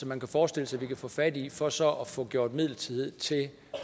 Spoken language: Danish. man kan forestille sig vi kan få fat i for så at få gjort midlertidighed til